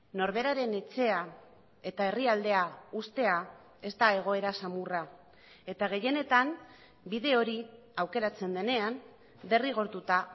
norberaren etxea eta herrialdea uztea ez da egoera samurra eta gehienetan bide hori aukeratzen denean derrigortuta